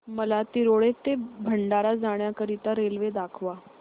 मला तिरोडा ते भंडारा जाण्या करीता रेल्वे दाखवा